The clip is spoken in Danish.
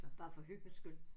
Bare for hyggens skyld